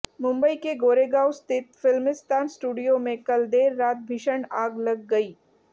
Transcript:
मुंबई के गोरेगांव स्थित फ़िल्मिस्तान स्टूडियो में कल देर रात भीषण आग लग गई